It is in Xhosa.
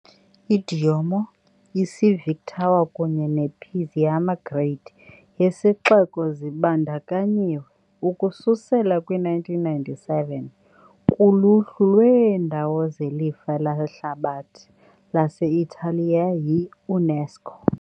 I -Diomo, i- Civic Tower kunye ne- Piazza Grande yesixeko zibandakanyiwe, ukususela kwi-1997, kuluhlu lweendawo zelifa lehlabathi lase-Italiya yi-UNESCO.